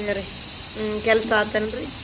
ಹ್ಮ್ ಅರಾಮದೇವ್ರಿ.